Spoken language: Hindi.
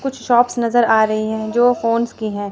कुछ शॉप्स नजर आ रहीं हैं जो फोन्स की हैं।